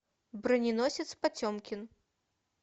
броненосец потемкин